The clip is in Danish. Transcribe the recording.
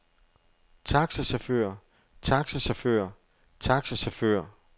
taxachauffør taxachauffør taxachauffør